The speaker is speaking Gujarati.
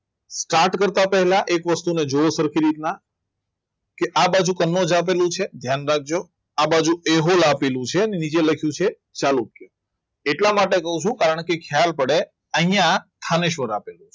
start કરતા પહેલા એક વસ્તુને જુઓ સરખી રીતના કે આ બાજુ તમે આપેલું છે ધ્યાન રાખજો આ બાજુ મેં એવું આપેલું છે અને નીચે લખ્યું છે ચાલુ એટલા માટે કહું છું કારણ કે ખ્યાલ પડે અહીંયા